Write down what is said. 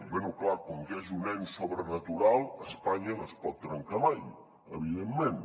bé és clar com que és un ens sobrenatural espanya no es pot trencar mai evidentment